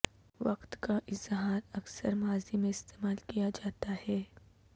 وقت کا اظہار اکثر ماضی میں استعمال کیا جاتا ہے